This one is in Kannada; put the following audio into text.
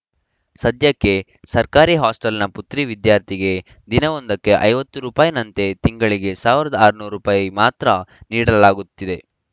ಸದ್ಯಕ್ಕೆ ಸರ್ಕಾರಿ ಹಾಸ್ಟೆಲ್‌ನ ಪುತ್ರಿ ವಿದ್ಯಾರ್ಥಿಗೆ ದಿನವೊಂದಕ್ಕೆ ಐವತ್ತು ರೂಪಾಯಿ ನಂತೆ ತಿಂಗಳಿಗೆ ಸಾವಿರದ ಆರುನೂರು ರೂಪಾಯಿ ಮಾತ್ರ ನೀಡಲಾಗುತ್ತಿದೆ